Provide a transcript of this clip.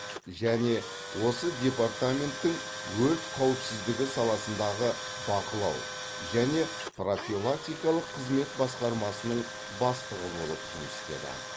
және осы департаменттің өрт қауіпсіздігі саласындағы бақылау және профилактикалық қызмет басқармасының бастығы болып жұмыс істеді